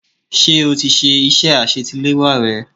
Ṣé o ti ṣe iṣẹ́ àsetiléwá rẹ?